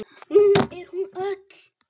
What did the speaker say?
Nú er hún öll.